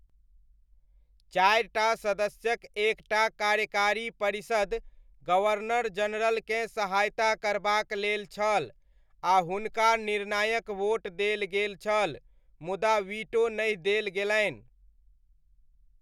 चारि टा सदस्यक एक टा कार्यकारी परिषद, गवर्नर जनरलकेँ सहायता करबाक लेल छल आ हुनका निर्णायक वोट देल गेल छल मुदा वीटो नहि देल गेलनि।